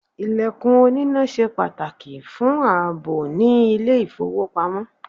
ilekun onina se pataki fun aabo ni ile ifowopamo